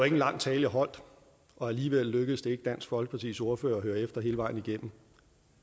en lang tale jeg holdt og alligevel lykkedes det ikke dansk folkepartis ordfører at høre efter hele vejen igennem